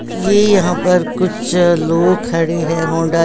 ये यहाँ पर कुछ लोग खड़े हैं होंडा--